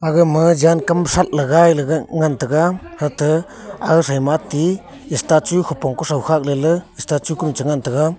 aga ma jan kam shat la gai le ngan taga hate aga shoi ma ti star chu hupong kuso khak lele star kucho cha ngan taga.